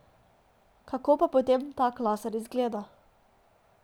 Kako pa potem tak laser izgleda?